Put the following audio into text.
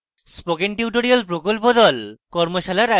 spoken tutorial প্রকল্প the